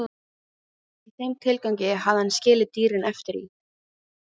Í þeim tilgangi hafði hann skilið dýrin eftir í